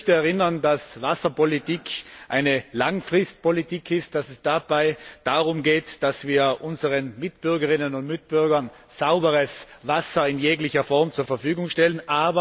Ich möchte daran erinnern, dass Wasserpolitik eine langfristige Politik ist, dass es dabei darum geht, dass wir unseren Mitbürgerinnen und Mitbürgern sauberes Wasser in jeglicher Form zur Verfügung stellen